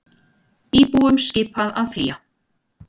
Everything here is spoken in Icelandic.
Íbúum skipað að flýja